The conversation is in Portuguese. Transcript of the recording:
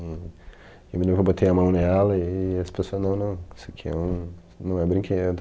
Hum, eu me lembro que eu botei a mão nela e aí as pessoa não, não, isso aqui é um não é brinquedo.